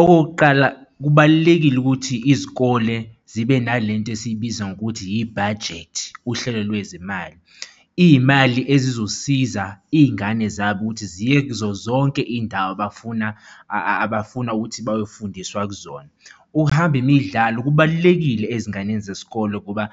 Okokuqala kubalulekile ukuthi izikole zibe nale nto esiyibiza ngokuthi yi-budget, uhlelo lwezemali, iy'mali ezizosiza iy'ngane zabo ukuthi ziye kuzo zonke iy'ndawo abafuna, abafuna ukuthi bayofundiswa kuzona. Ukuhamba imidlalo kubalulekile ezinganeni zesikole ngoba